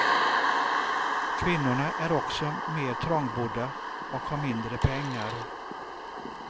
Kvinnorna är också mer trångbodda och har mindre pengar.